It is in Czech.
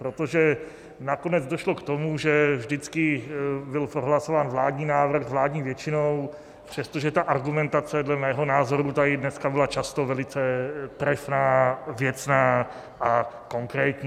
Protože nakonec došlo k tomu, že vždycky byl prohlasován vládní návrh vládní většinou, přestože ta argumentace dle mého názoru tady dneska byla často velice trefná, věcná a konkrétní.